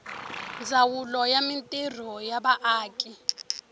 ndzawulo ya mintirho ya vaaki